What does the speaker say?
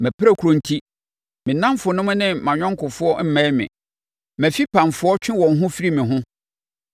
Mʼapirakuro enti me nnamfonom ne mʼayɔnkofoɔ mmɛn me; mʼafipamfoɔ twe wɔn ho firi me ho.